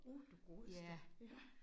Uh du godeste! Ja